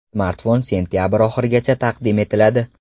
Smartfon sentabr oxirigacha taqdim etiladi.